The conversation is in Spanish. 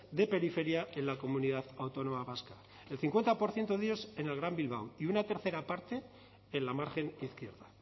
de periferia en la comunidad autónoma vasca el cincuenta por ciento de ellos en el gran bilbao y una tercera parte en la margen izquierda